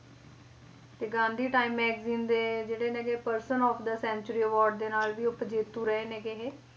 ਤੇ Gandhi time magazine ਦੇ ਜਿਹੜੇ ਨੇ ਗੇ person of the century award ਦੇ ਨਾਲ ਵੀ ਉਪ ਜੇਤੂ ਰਹੇ ਨੇ ਇਹ